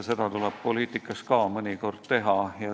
Seda tuleb poliitikas ka mõnikord teha.